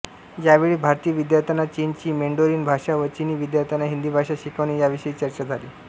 यावेळी भारतीय विद्यार्थ्यांना चीनची मेंडोरीन भाषा व चिनी विद्यार्थ्यांना हिंदी भाषा शिकवणे याविषयी चर्चा झाली